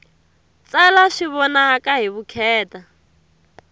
tsala swi vonaka hi vukheta